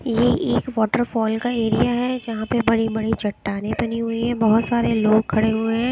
ये एक वॉटरफॉल का एरिया है जहाँ पे बड़ी बड़ी चट्टानें बनी हुई हैं बहोत सारे लोग खड़े हुए है।